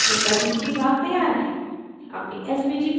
अब ब्रोशर का भीतरी भाग तैयार है